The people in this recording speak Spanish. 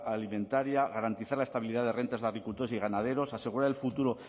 alimentaria garantizar la estabilidad de rentas de agricultores y ganaderos asegurar el futuro